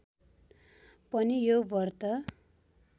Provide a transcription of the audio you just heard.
पनि यो व्रत